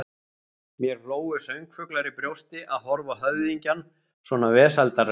Mér hlógu söngfuglar í brjósti, að horfa á höfðingjann svona vesældarlegan.